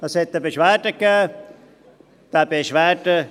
Es gab eine Beschwerde.